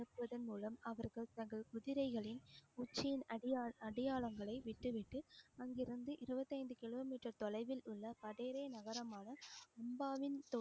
அனுப்புவதன் மூலம் அவர்கள் தங்கள் குதிரைகளின் உச்சியின் அடையாள்~ அடையாளங்களை விட்டுவிட்டு அங்கிருந்து, இருபத்தைந்து கிலோமீட்டர் தொலைவில் உள்ள பதேறி நகரமான உம்பாவின்